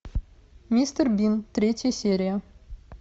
мистер бин третья серия